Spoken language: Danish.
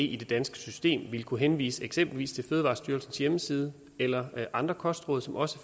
i det danske system vil kunne henvise eksempelvis til fødevarestyrelsens hjemmeside eller andre kostråd som også